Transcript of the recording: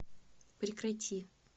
прекрати